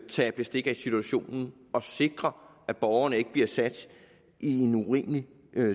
tage bestik af situationen og sikre at borgerne ikke bliver sat i en urimelig